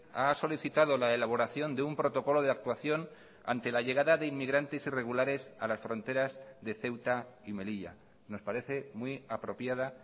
ha solicitado la elaboración de un protocolo de actuación ante la llegada de inmigrantes irregulares a las fronteras de ceuta y melilla nos parece muy apropiada